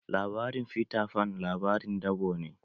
Labarin Fita fan labarin dabo ne